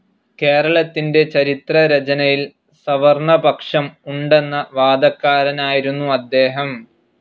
കേരളത്തിൻ്റെ ചരിത്രരചനയിൽ സവർണപക്ഷം ഉണ്ടെന്ന വാദക്കാരനായിരുന്നു അദ്ദേഹം.